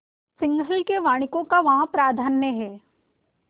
सिंहल के वणिकों का वहाँ प्राधान्य है